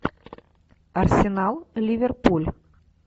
арсенал ливерпуль